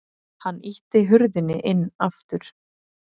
Hann ýtti hurðinni inn aftur.